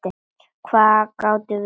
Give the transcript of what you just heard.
Hvað gátum við gert?